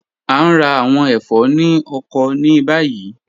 A ń rá àwọn ẹfọ̀ ni ọkọ̀ ni bayí.